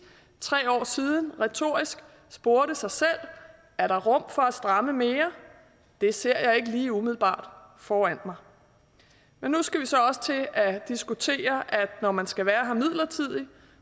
tre år siden retorisk spurgte sig selv er der rum for at stramme mere det ser jeg ikke lige umiddelbart foran mig men nu skal vi så også til at diskutere at når man skal være her midlertidigt